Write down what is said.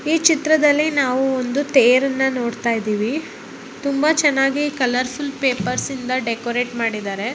ಈ ಚಿತ್ರದಲ್ಲಿ ನಾವು ಒಂದು ತೇರನ್ನ ನೋಡತ್ತಾ ಇದೀವಿ ತುಂಬಾ ಚೆನ್ನಾಗಿ ಕಲರ್ ಫುಲ್ ಪೇಪರ್ಸ್ ಇಂದ ಡೆಕೋರಟ್ ಮಾಡಿದಾರೆ.